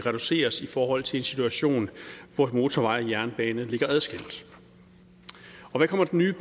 forhold til en situation hvor motorvej og jernbane ligger adskilt hvad kommer den nye